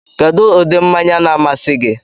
Kedu ụdị mmanya na-amasị gị?